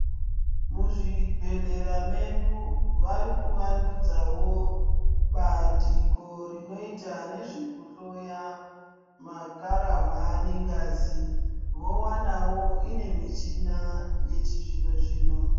Muzvibhehlera mwedu vari kuvandudzawo bandiko rinoita nezvekuhloya makararwa nengazi. Vowanawo imwe michina yechizvino zvino.